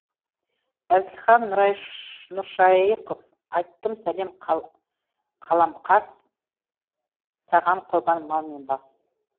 әзілхан нұршаи ықов айттым сәлем қалам қас саған құрбан мал мен бас